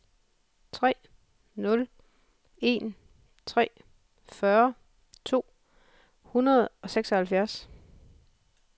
tre nul en tre fyrre to hundrede og seksoghalvfjerds